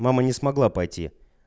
мама не смогла пойти